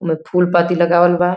ओमे फूल पाती लगावल बा।